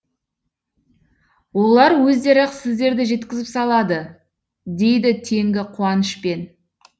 олар өздері ақ сіздерді жеткізіп салады дейді теңгі қуанышпен